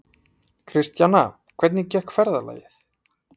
Kristjana, hvernig gekk ferðalagið?